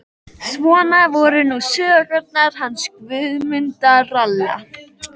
Svona voru nú sögurnar hans Guðmundar ralla.